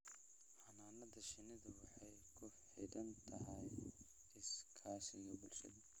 Xannaanada shinnidu waxay ku xidhan tahay iskaashiga bulshada.